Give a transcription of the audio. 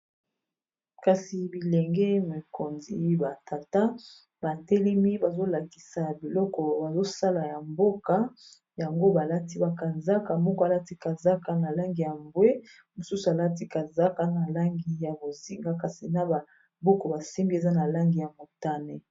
kasi bilenge mokonzi batata batelemi bazolakisa biloko bazosala ya mboka yango balati bakanzaka moko alati kazaka na langi ya mbwe mosusu alati kazaka na langi ya bozinga kasi na babuku basembi eza na langi ya motane